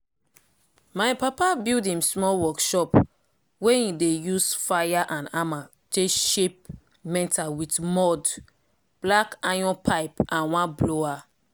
my papa build im small workshop workshop wey him dey use fire and hammer take shape metal with mud block iron pipe and one blower